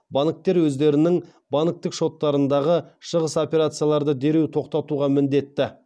банктер өздерінің банктік шоттарындағы шығыс операцияларды дереу тоқтатуға міндетті